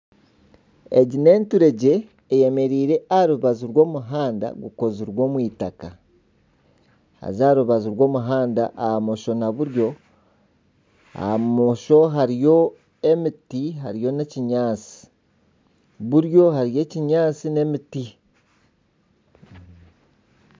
Egi n'enturegye eyemereire aha rubaju rw'omuhanda gukozirwe omu eitaka. Haza aha rubaju rw'omuhanda aha mosho na buryo, aha mosho hariyo emiti hariyo n'ekinyaatsi buryo hariyo ekinyaatsi n'emiti.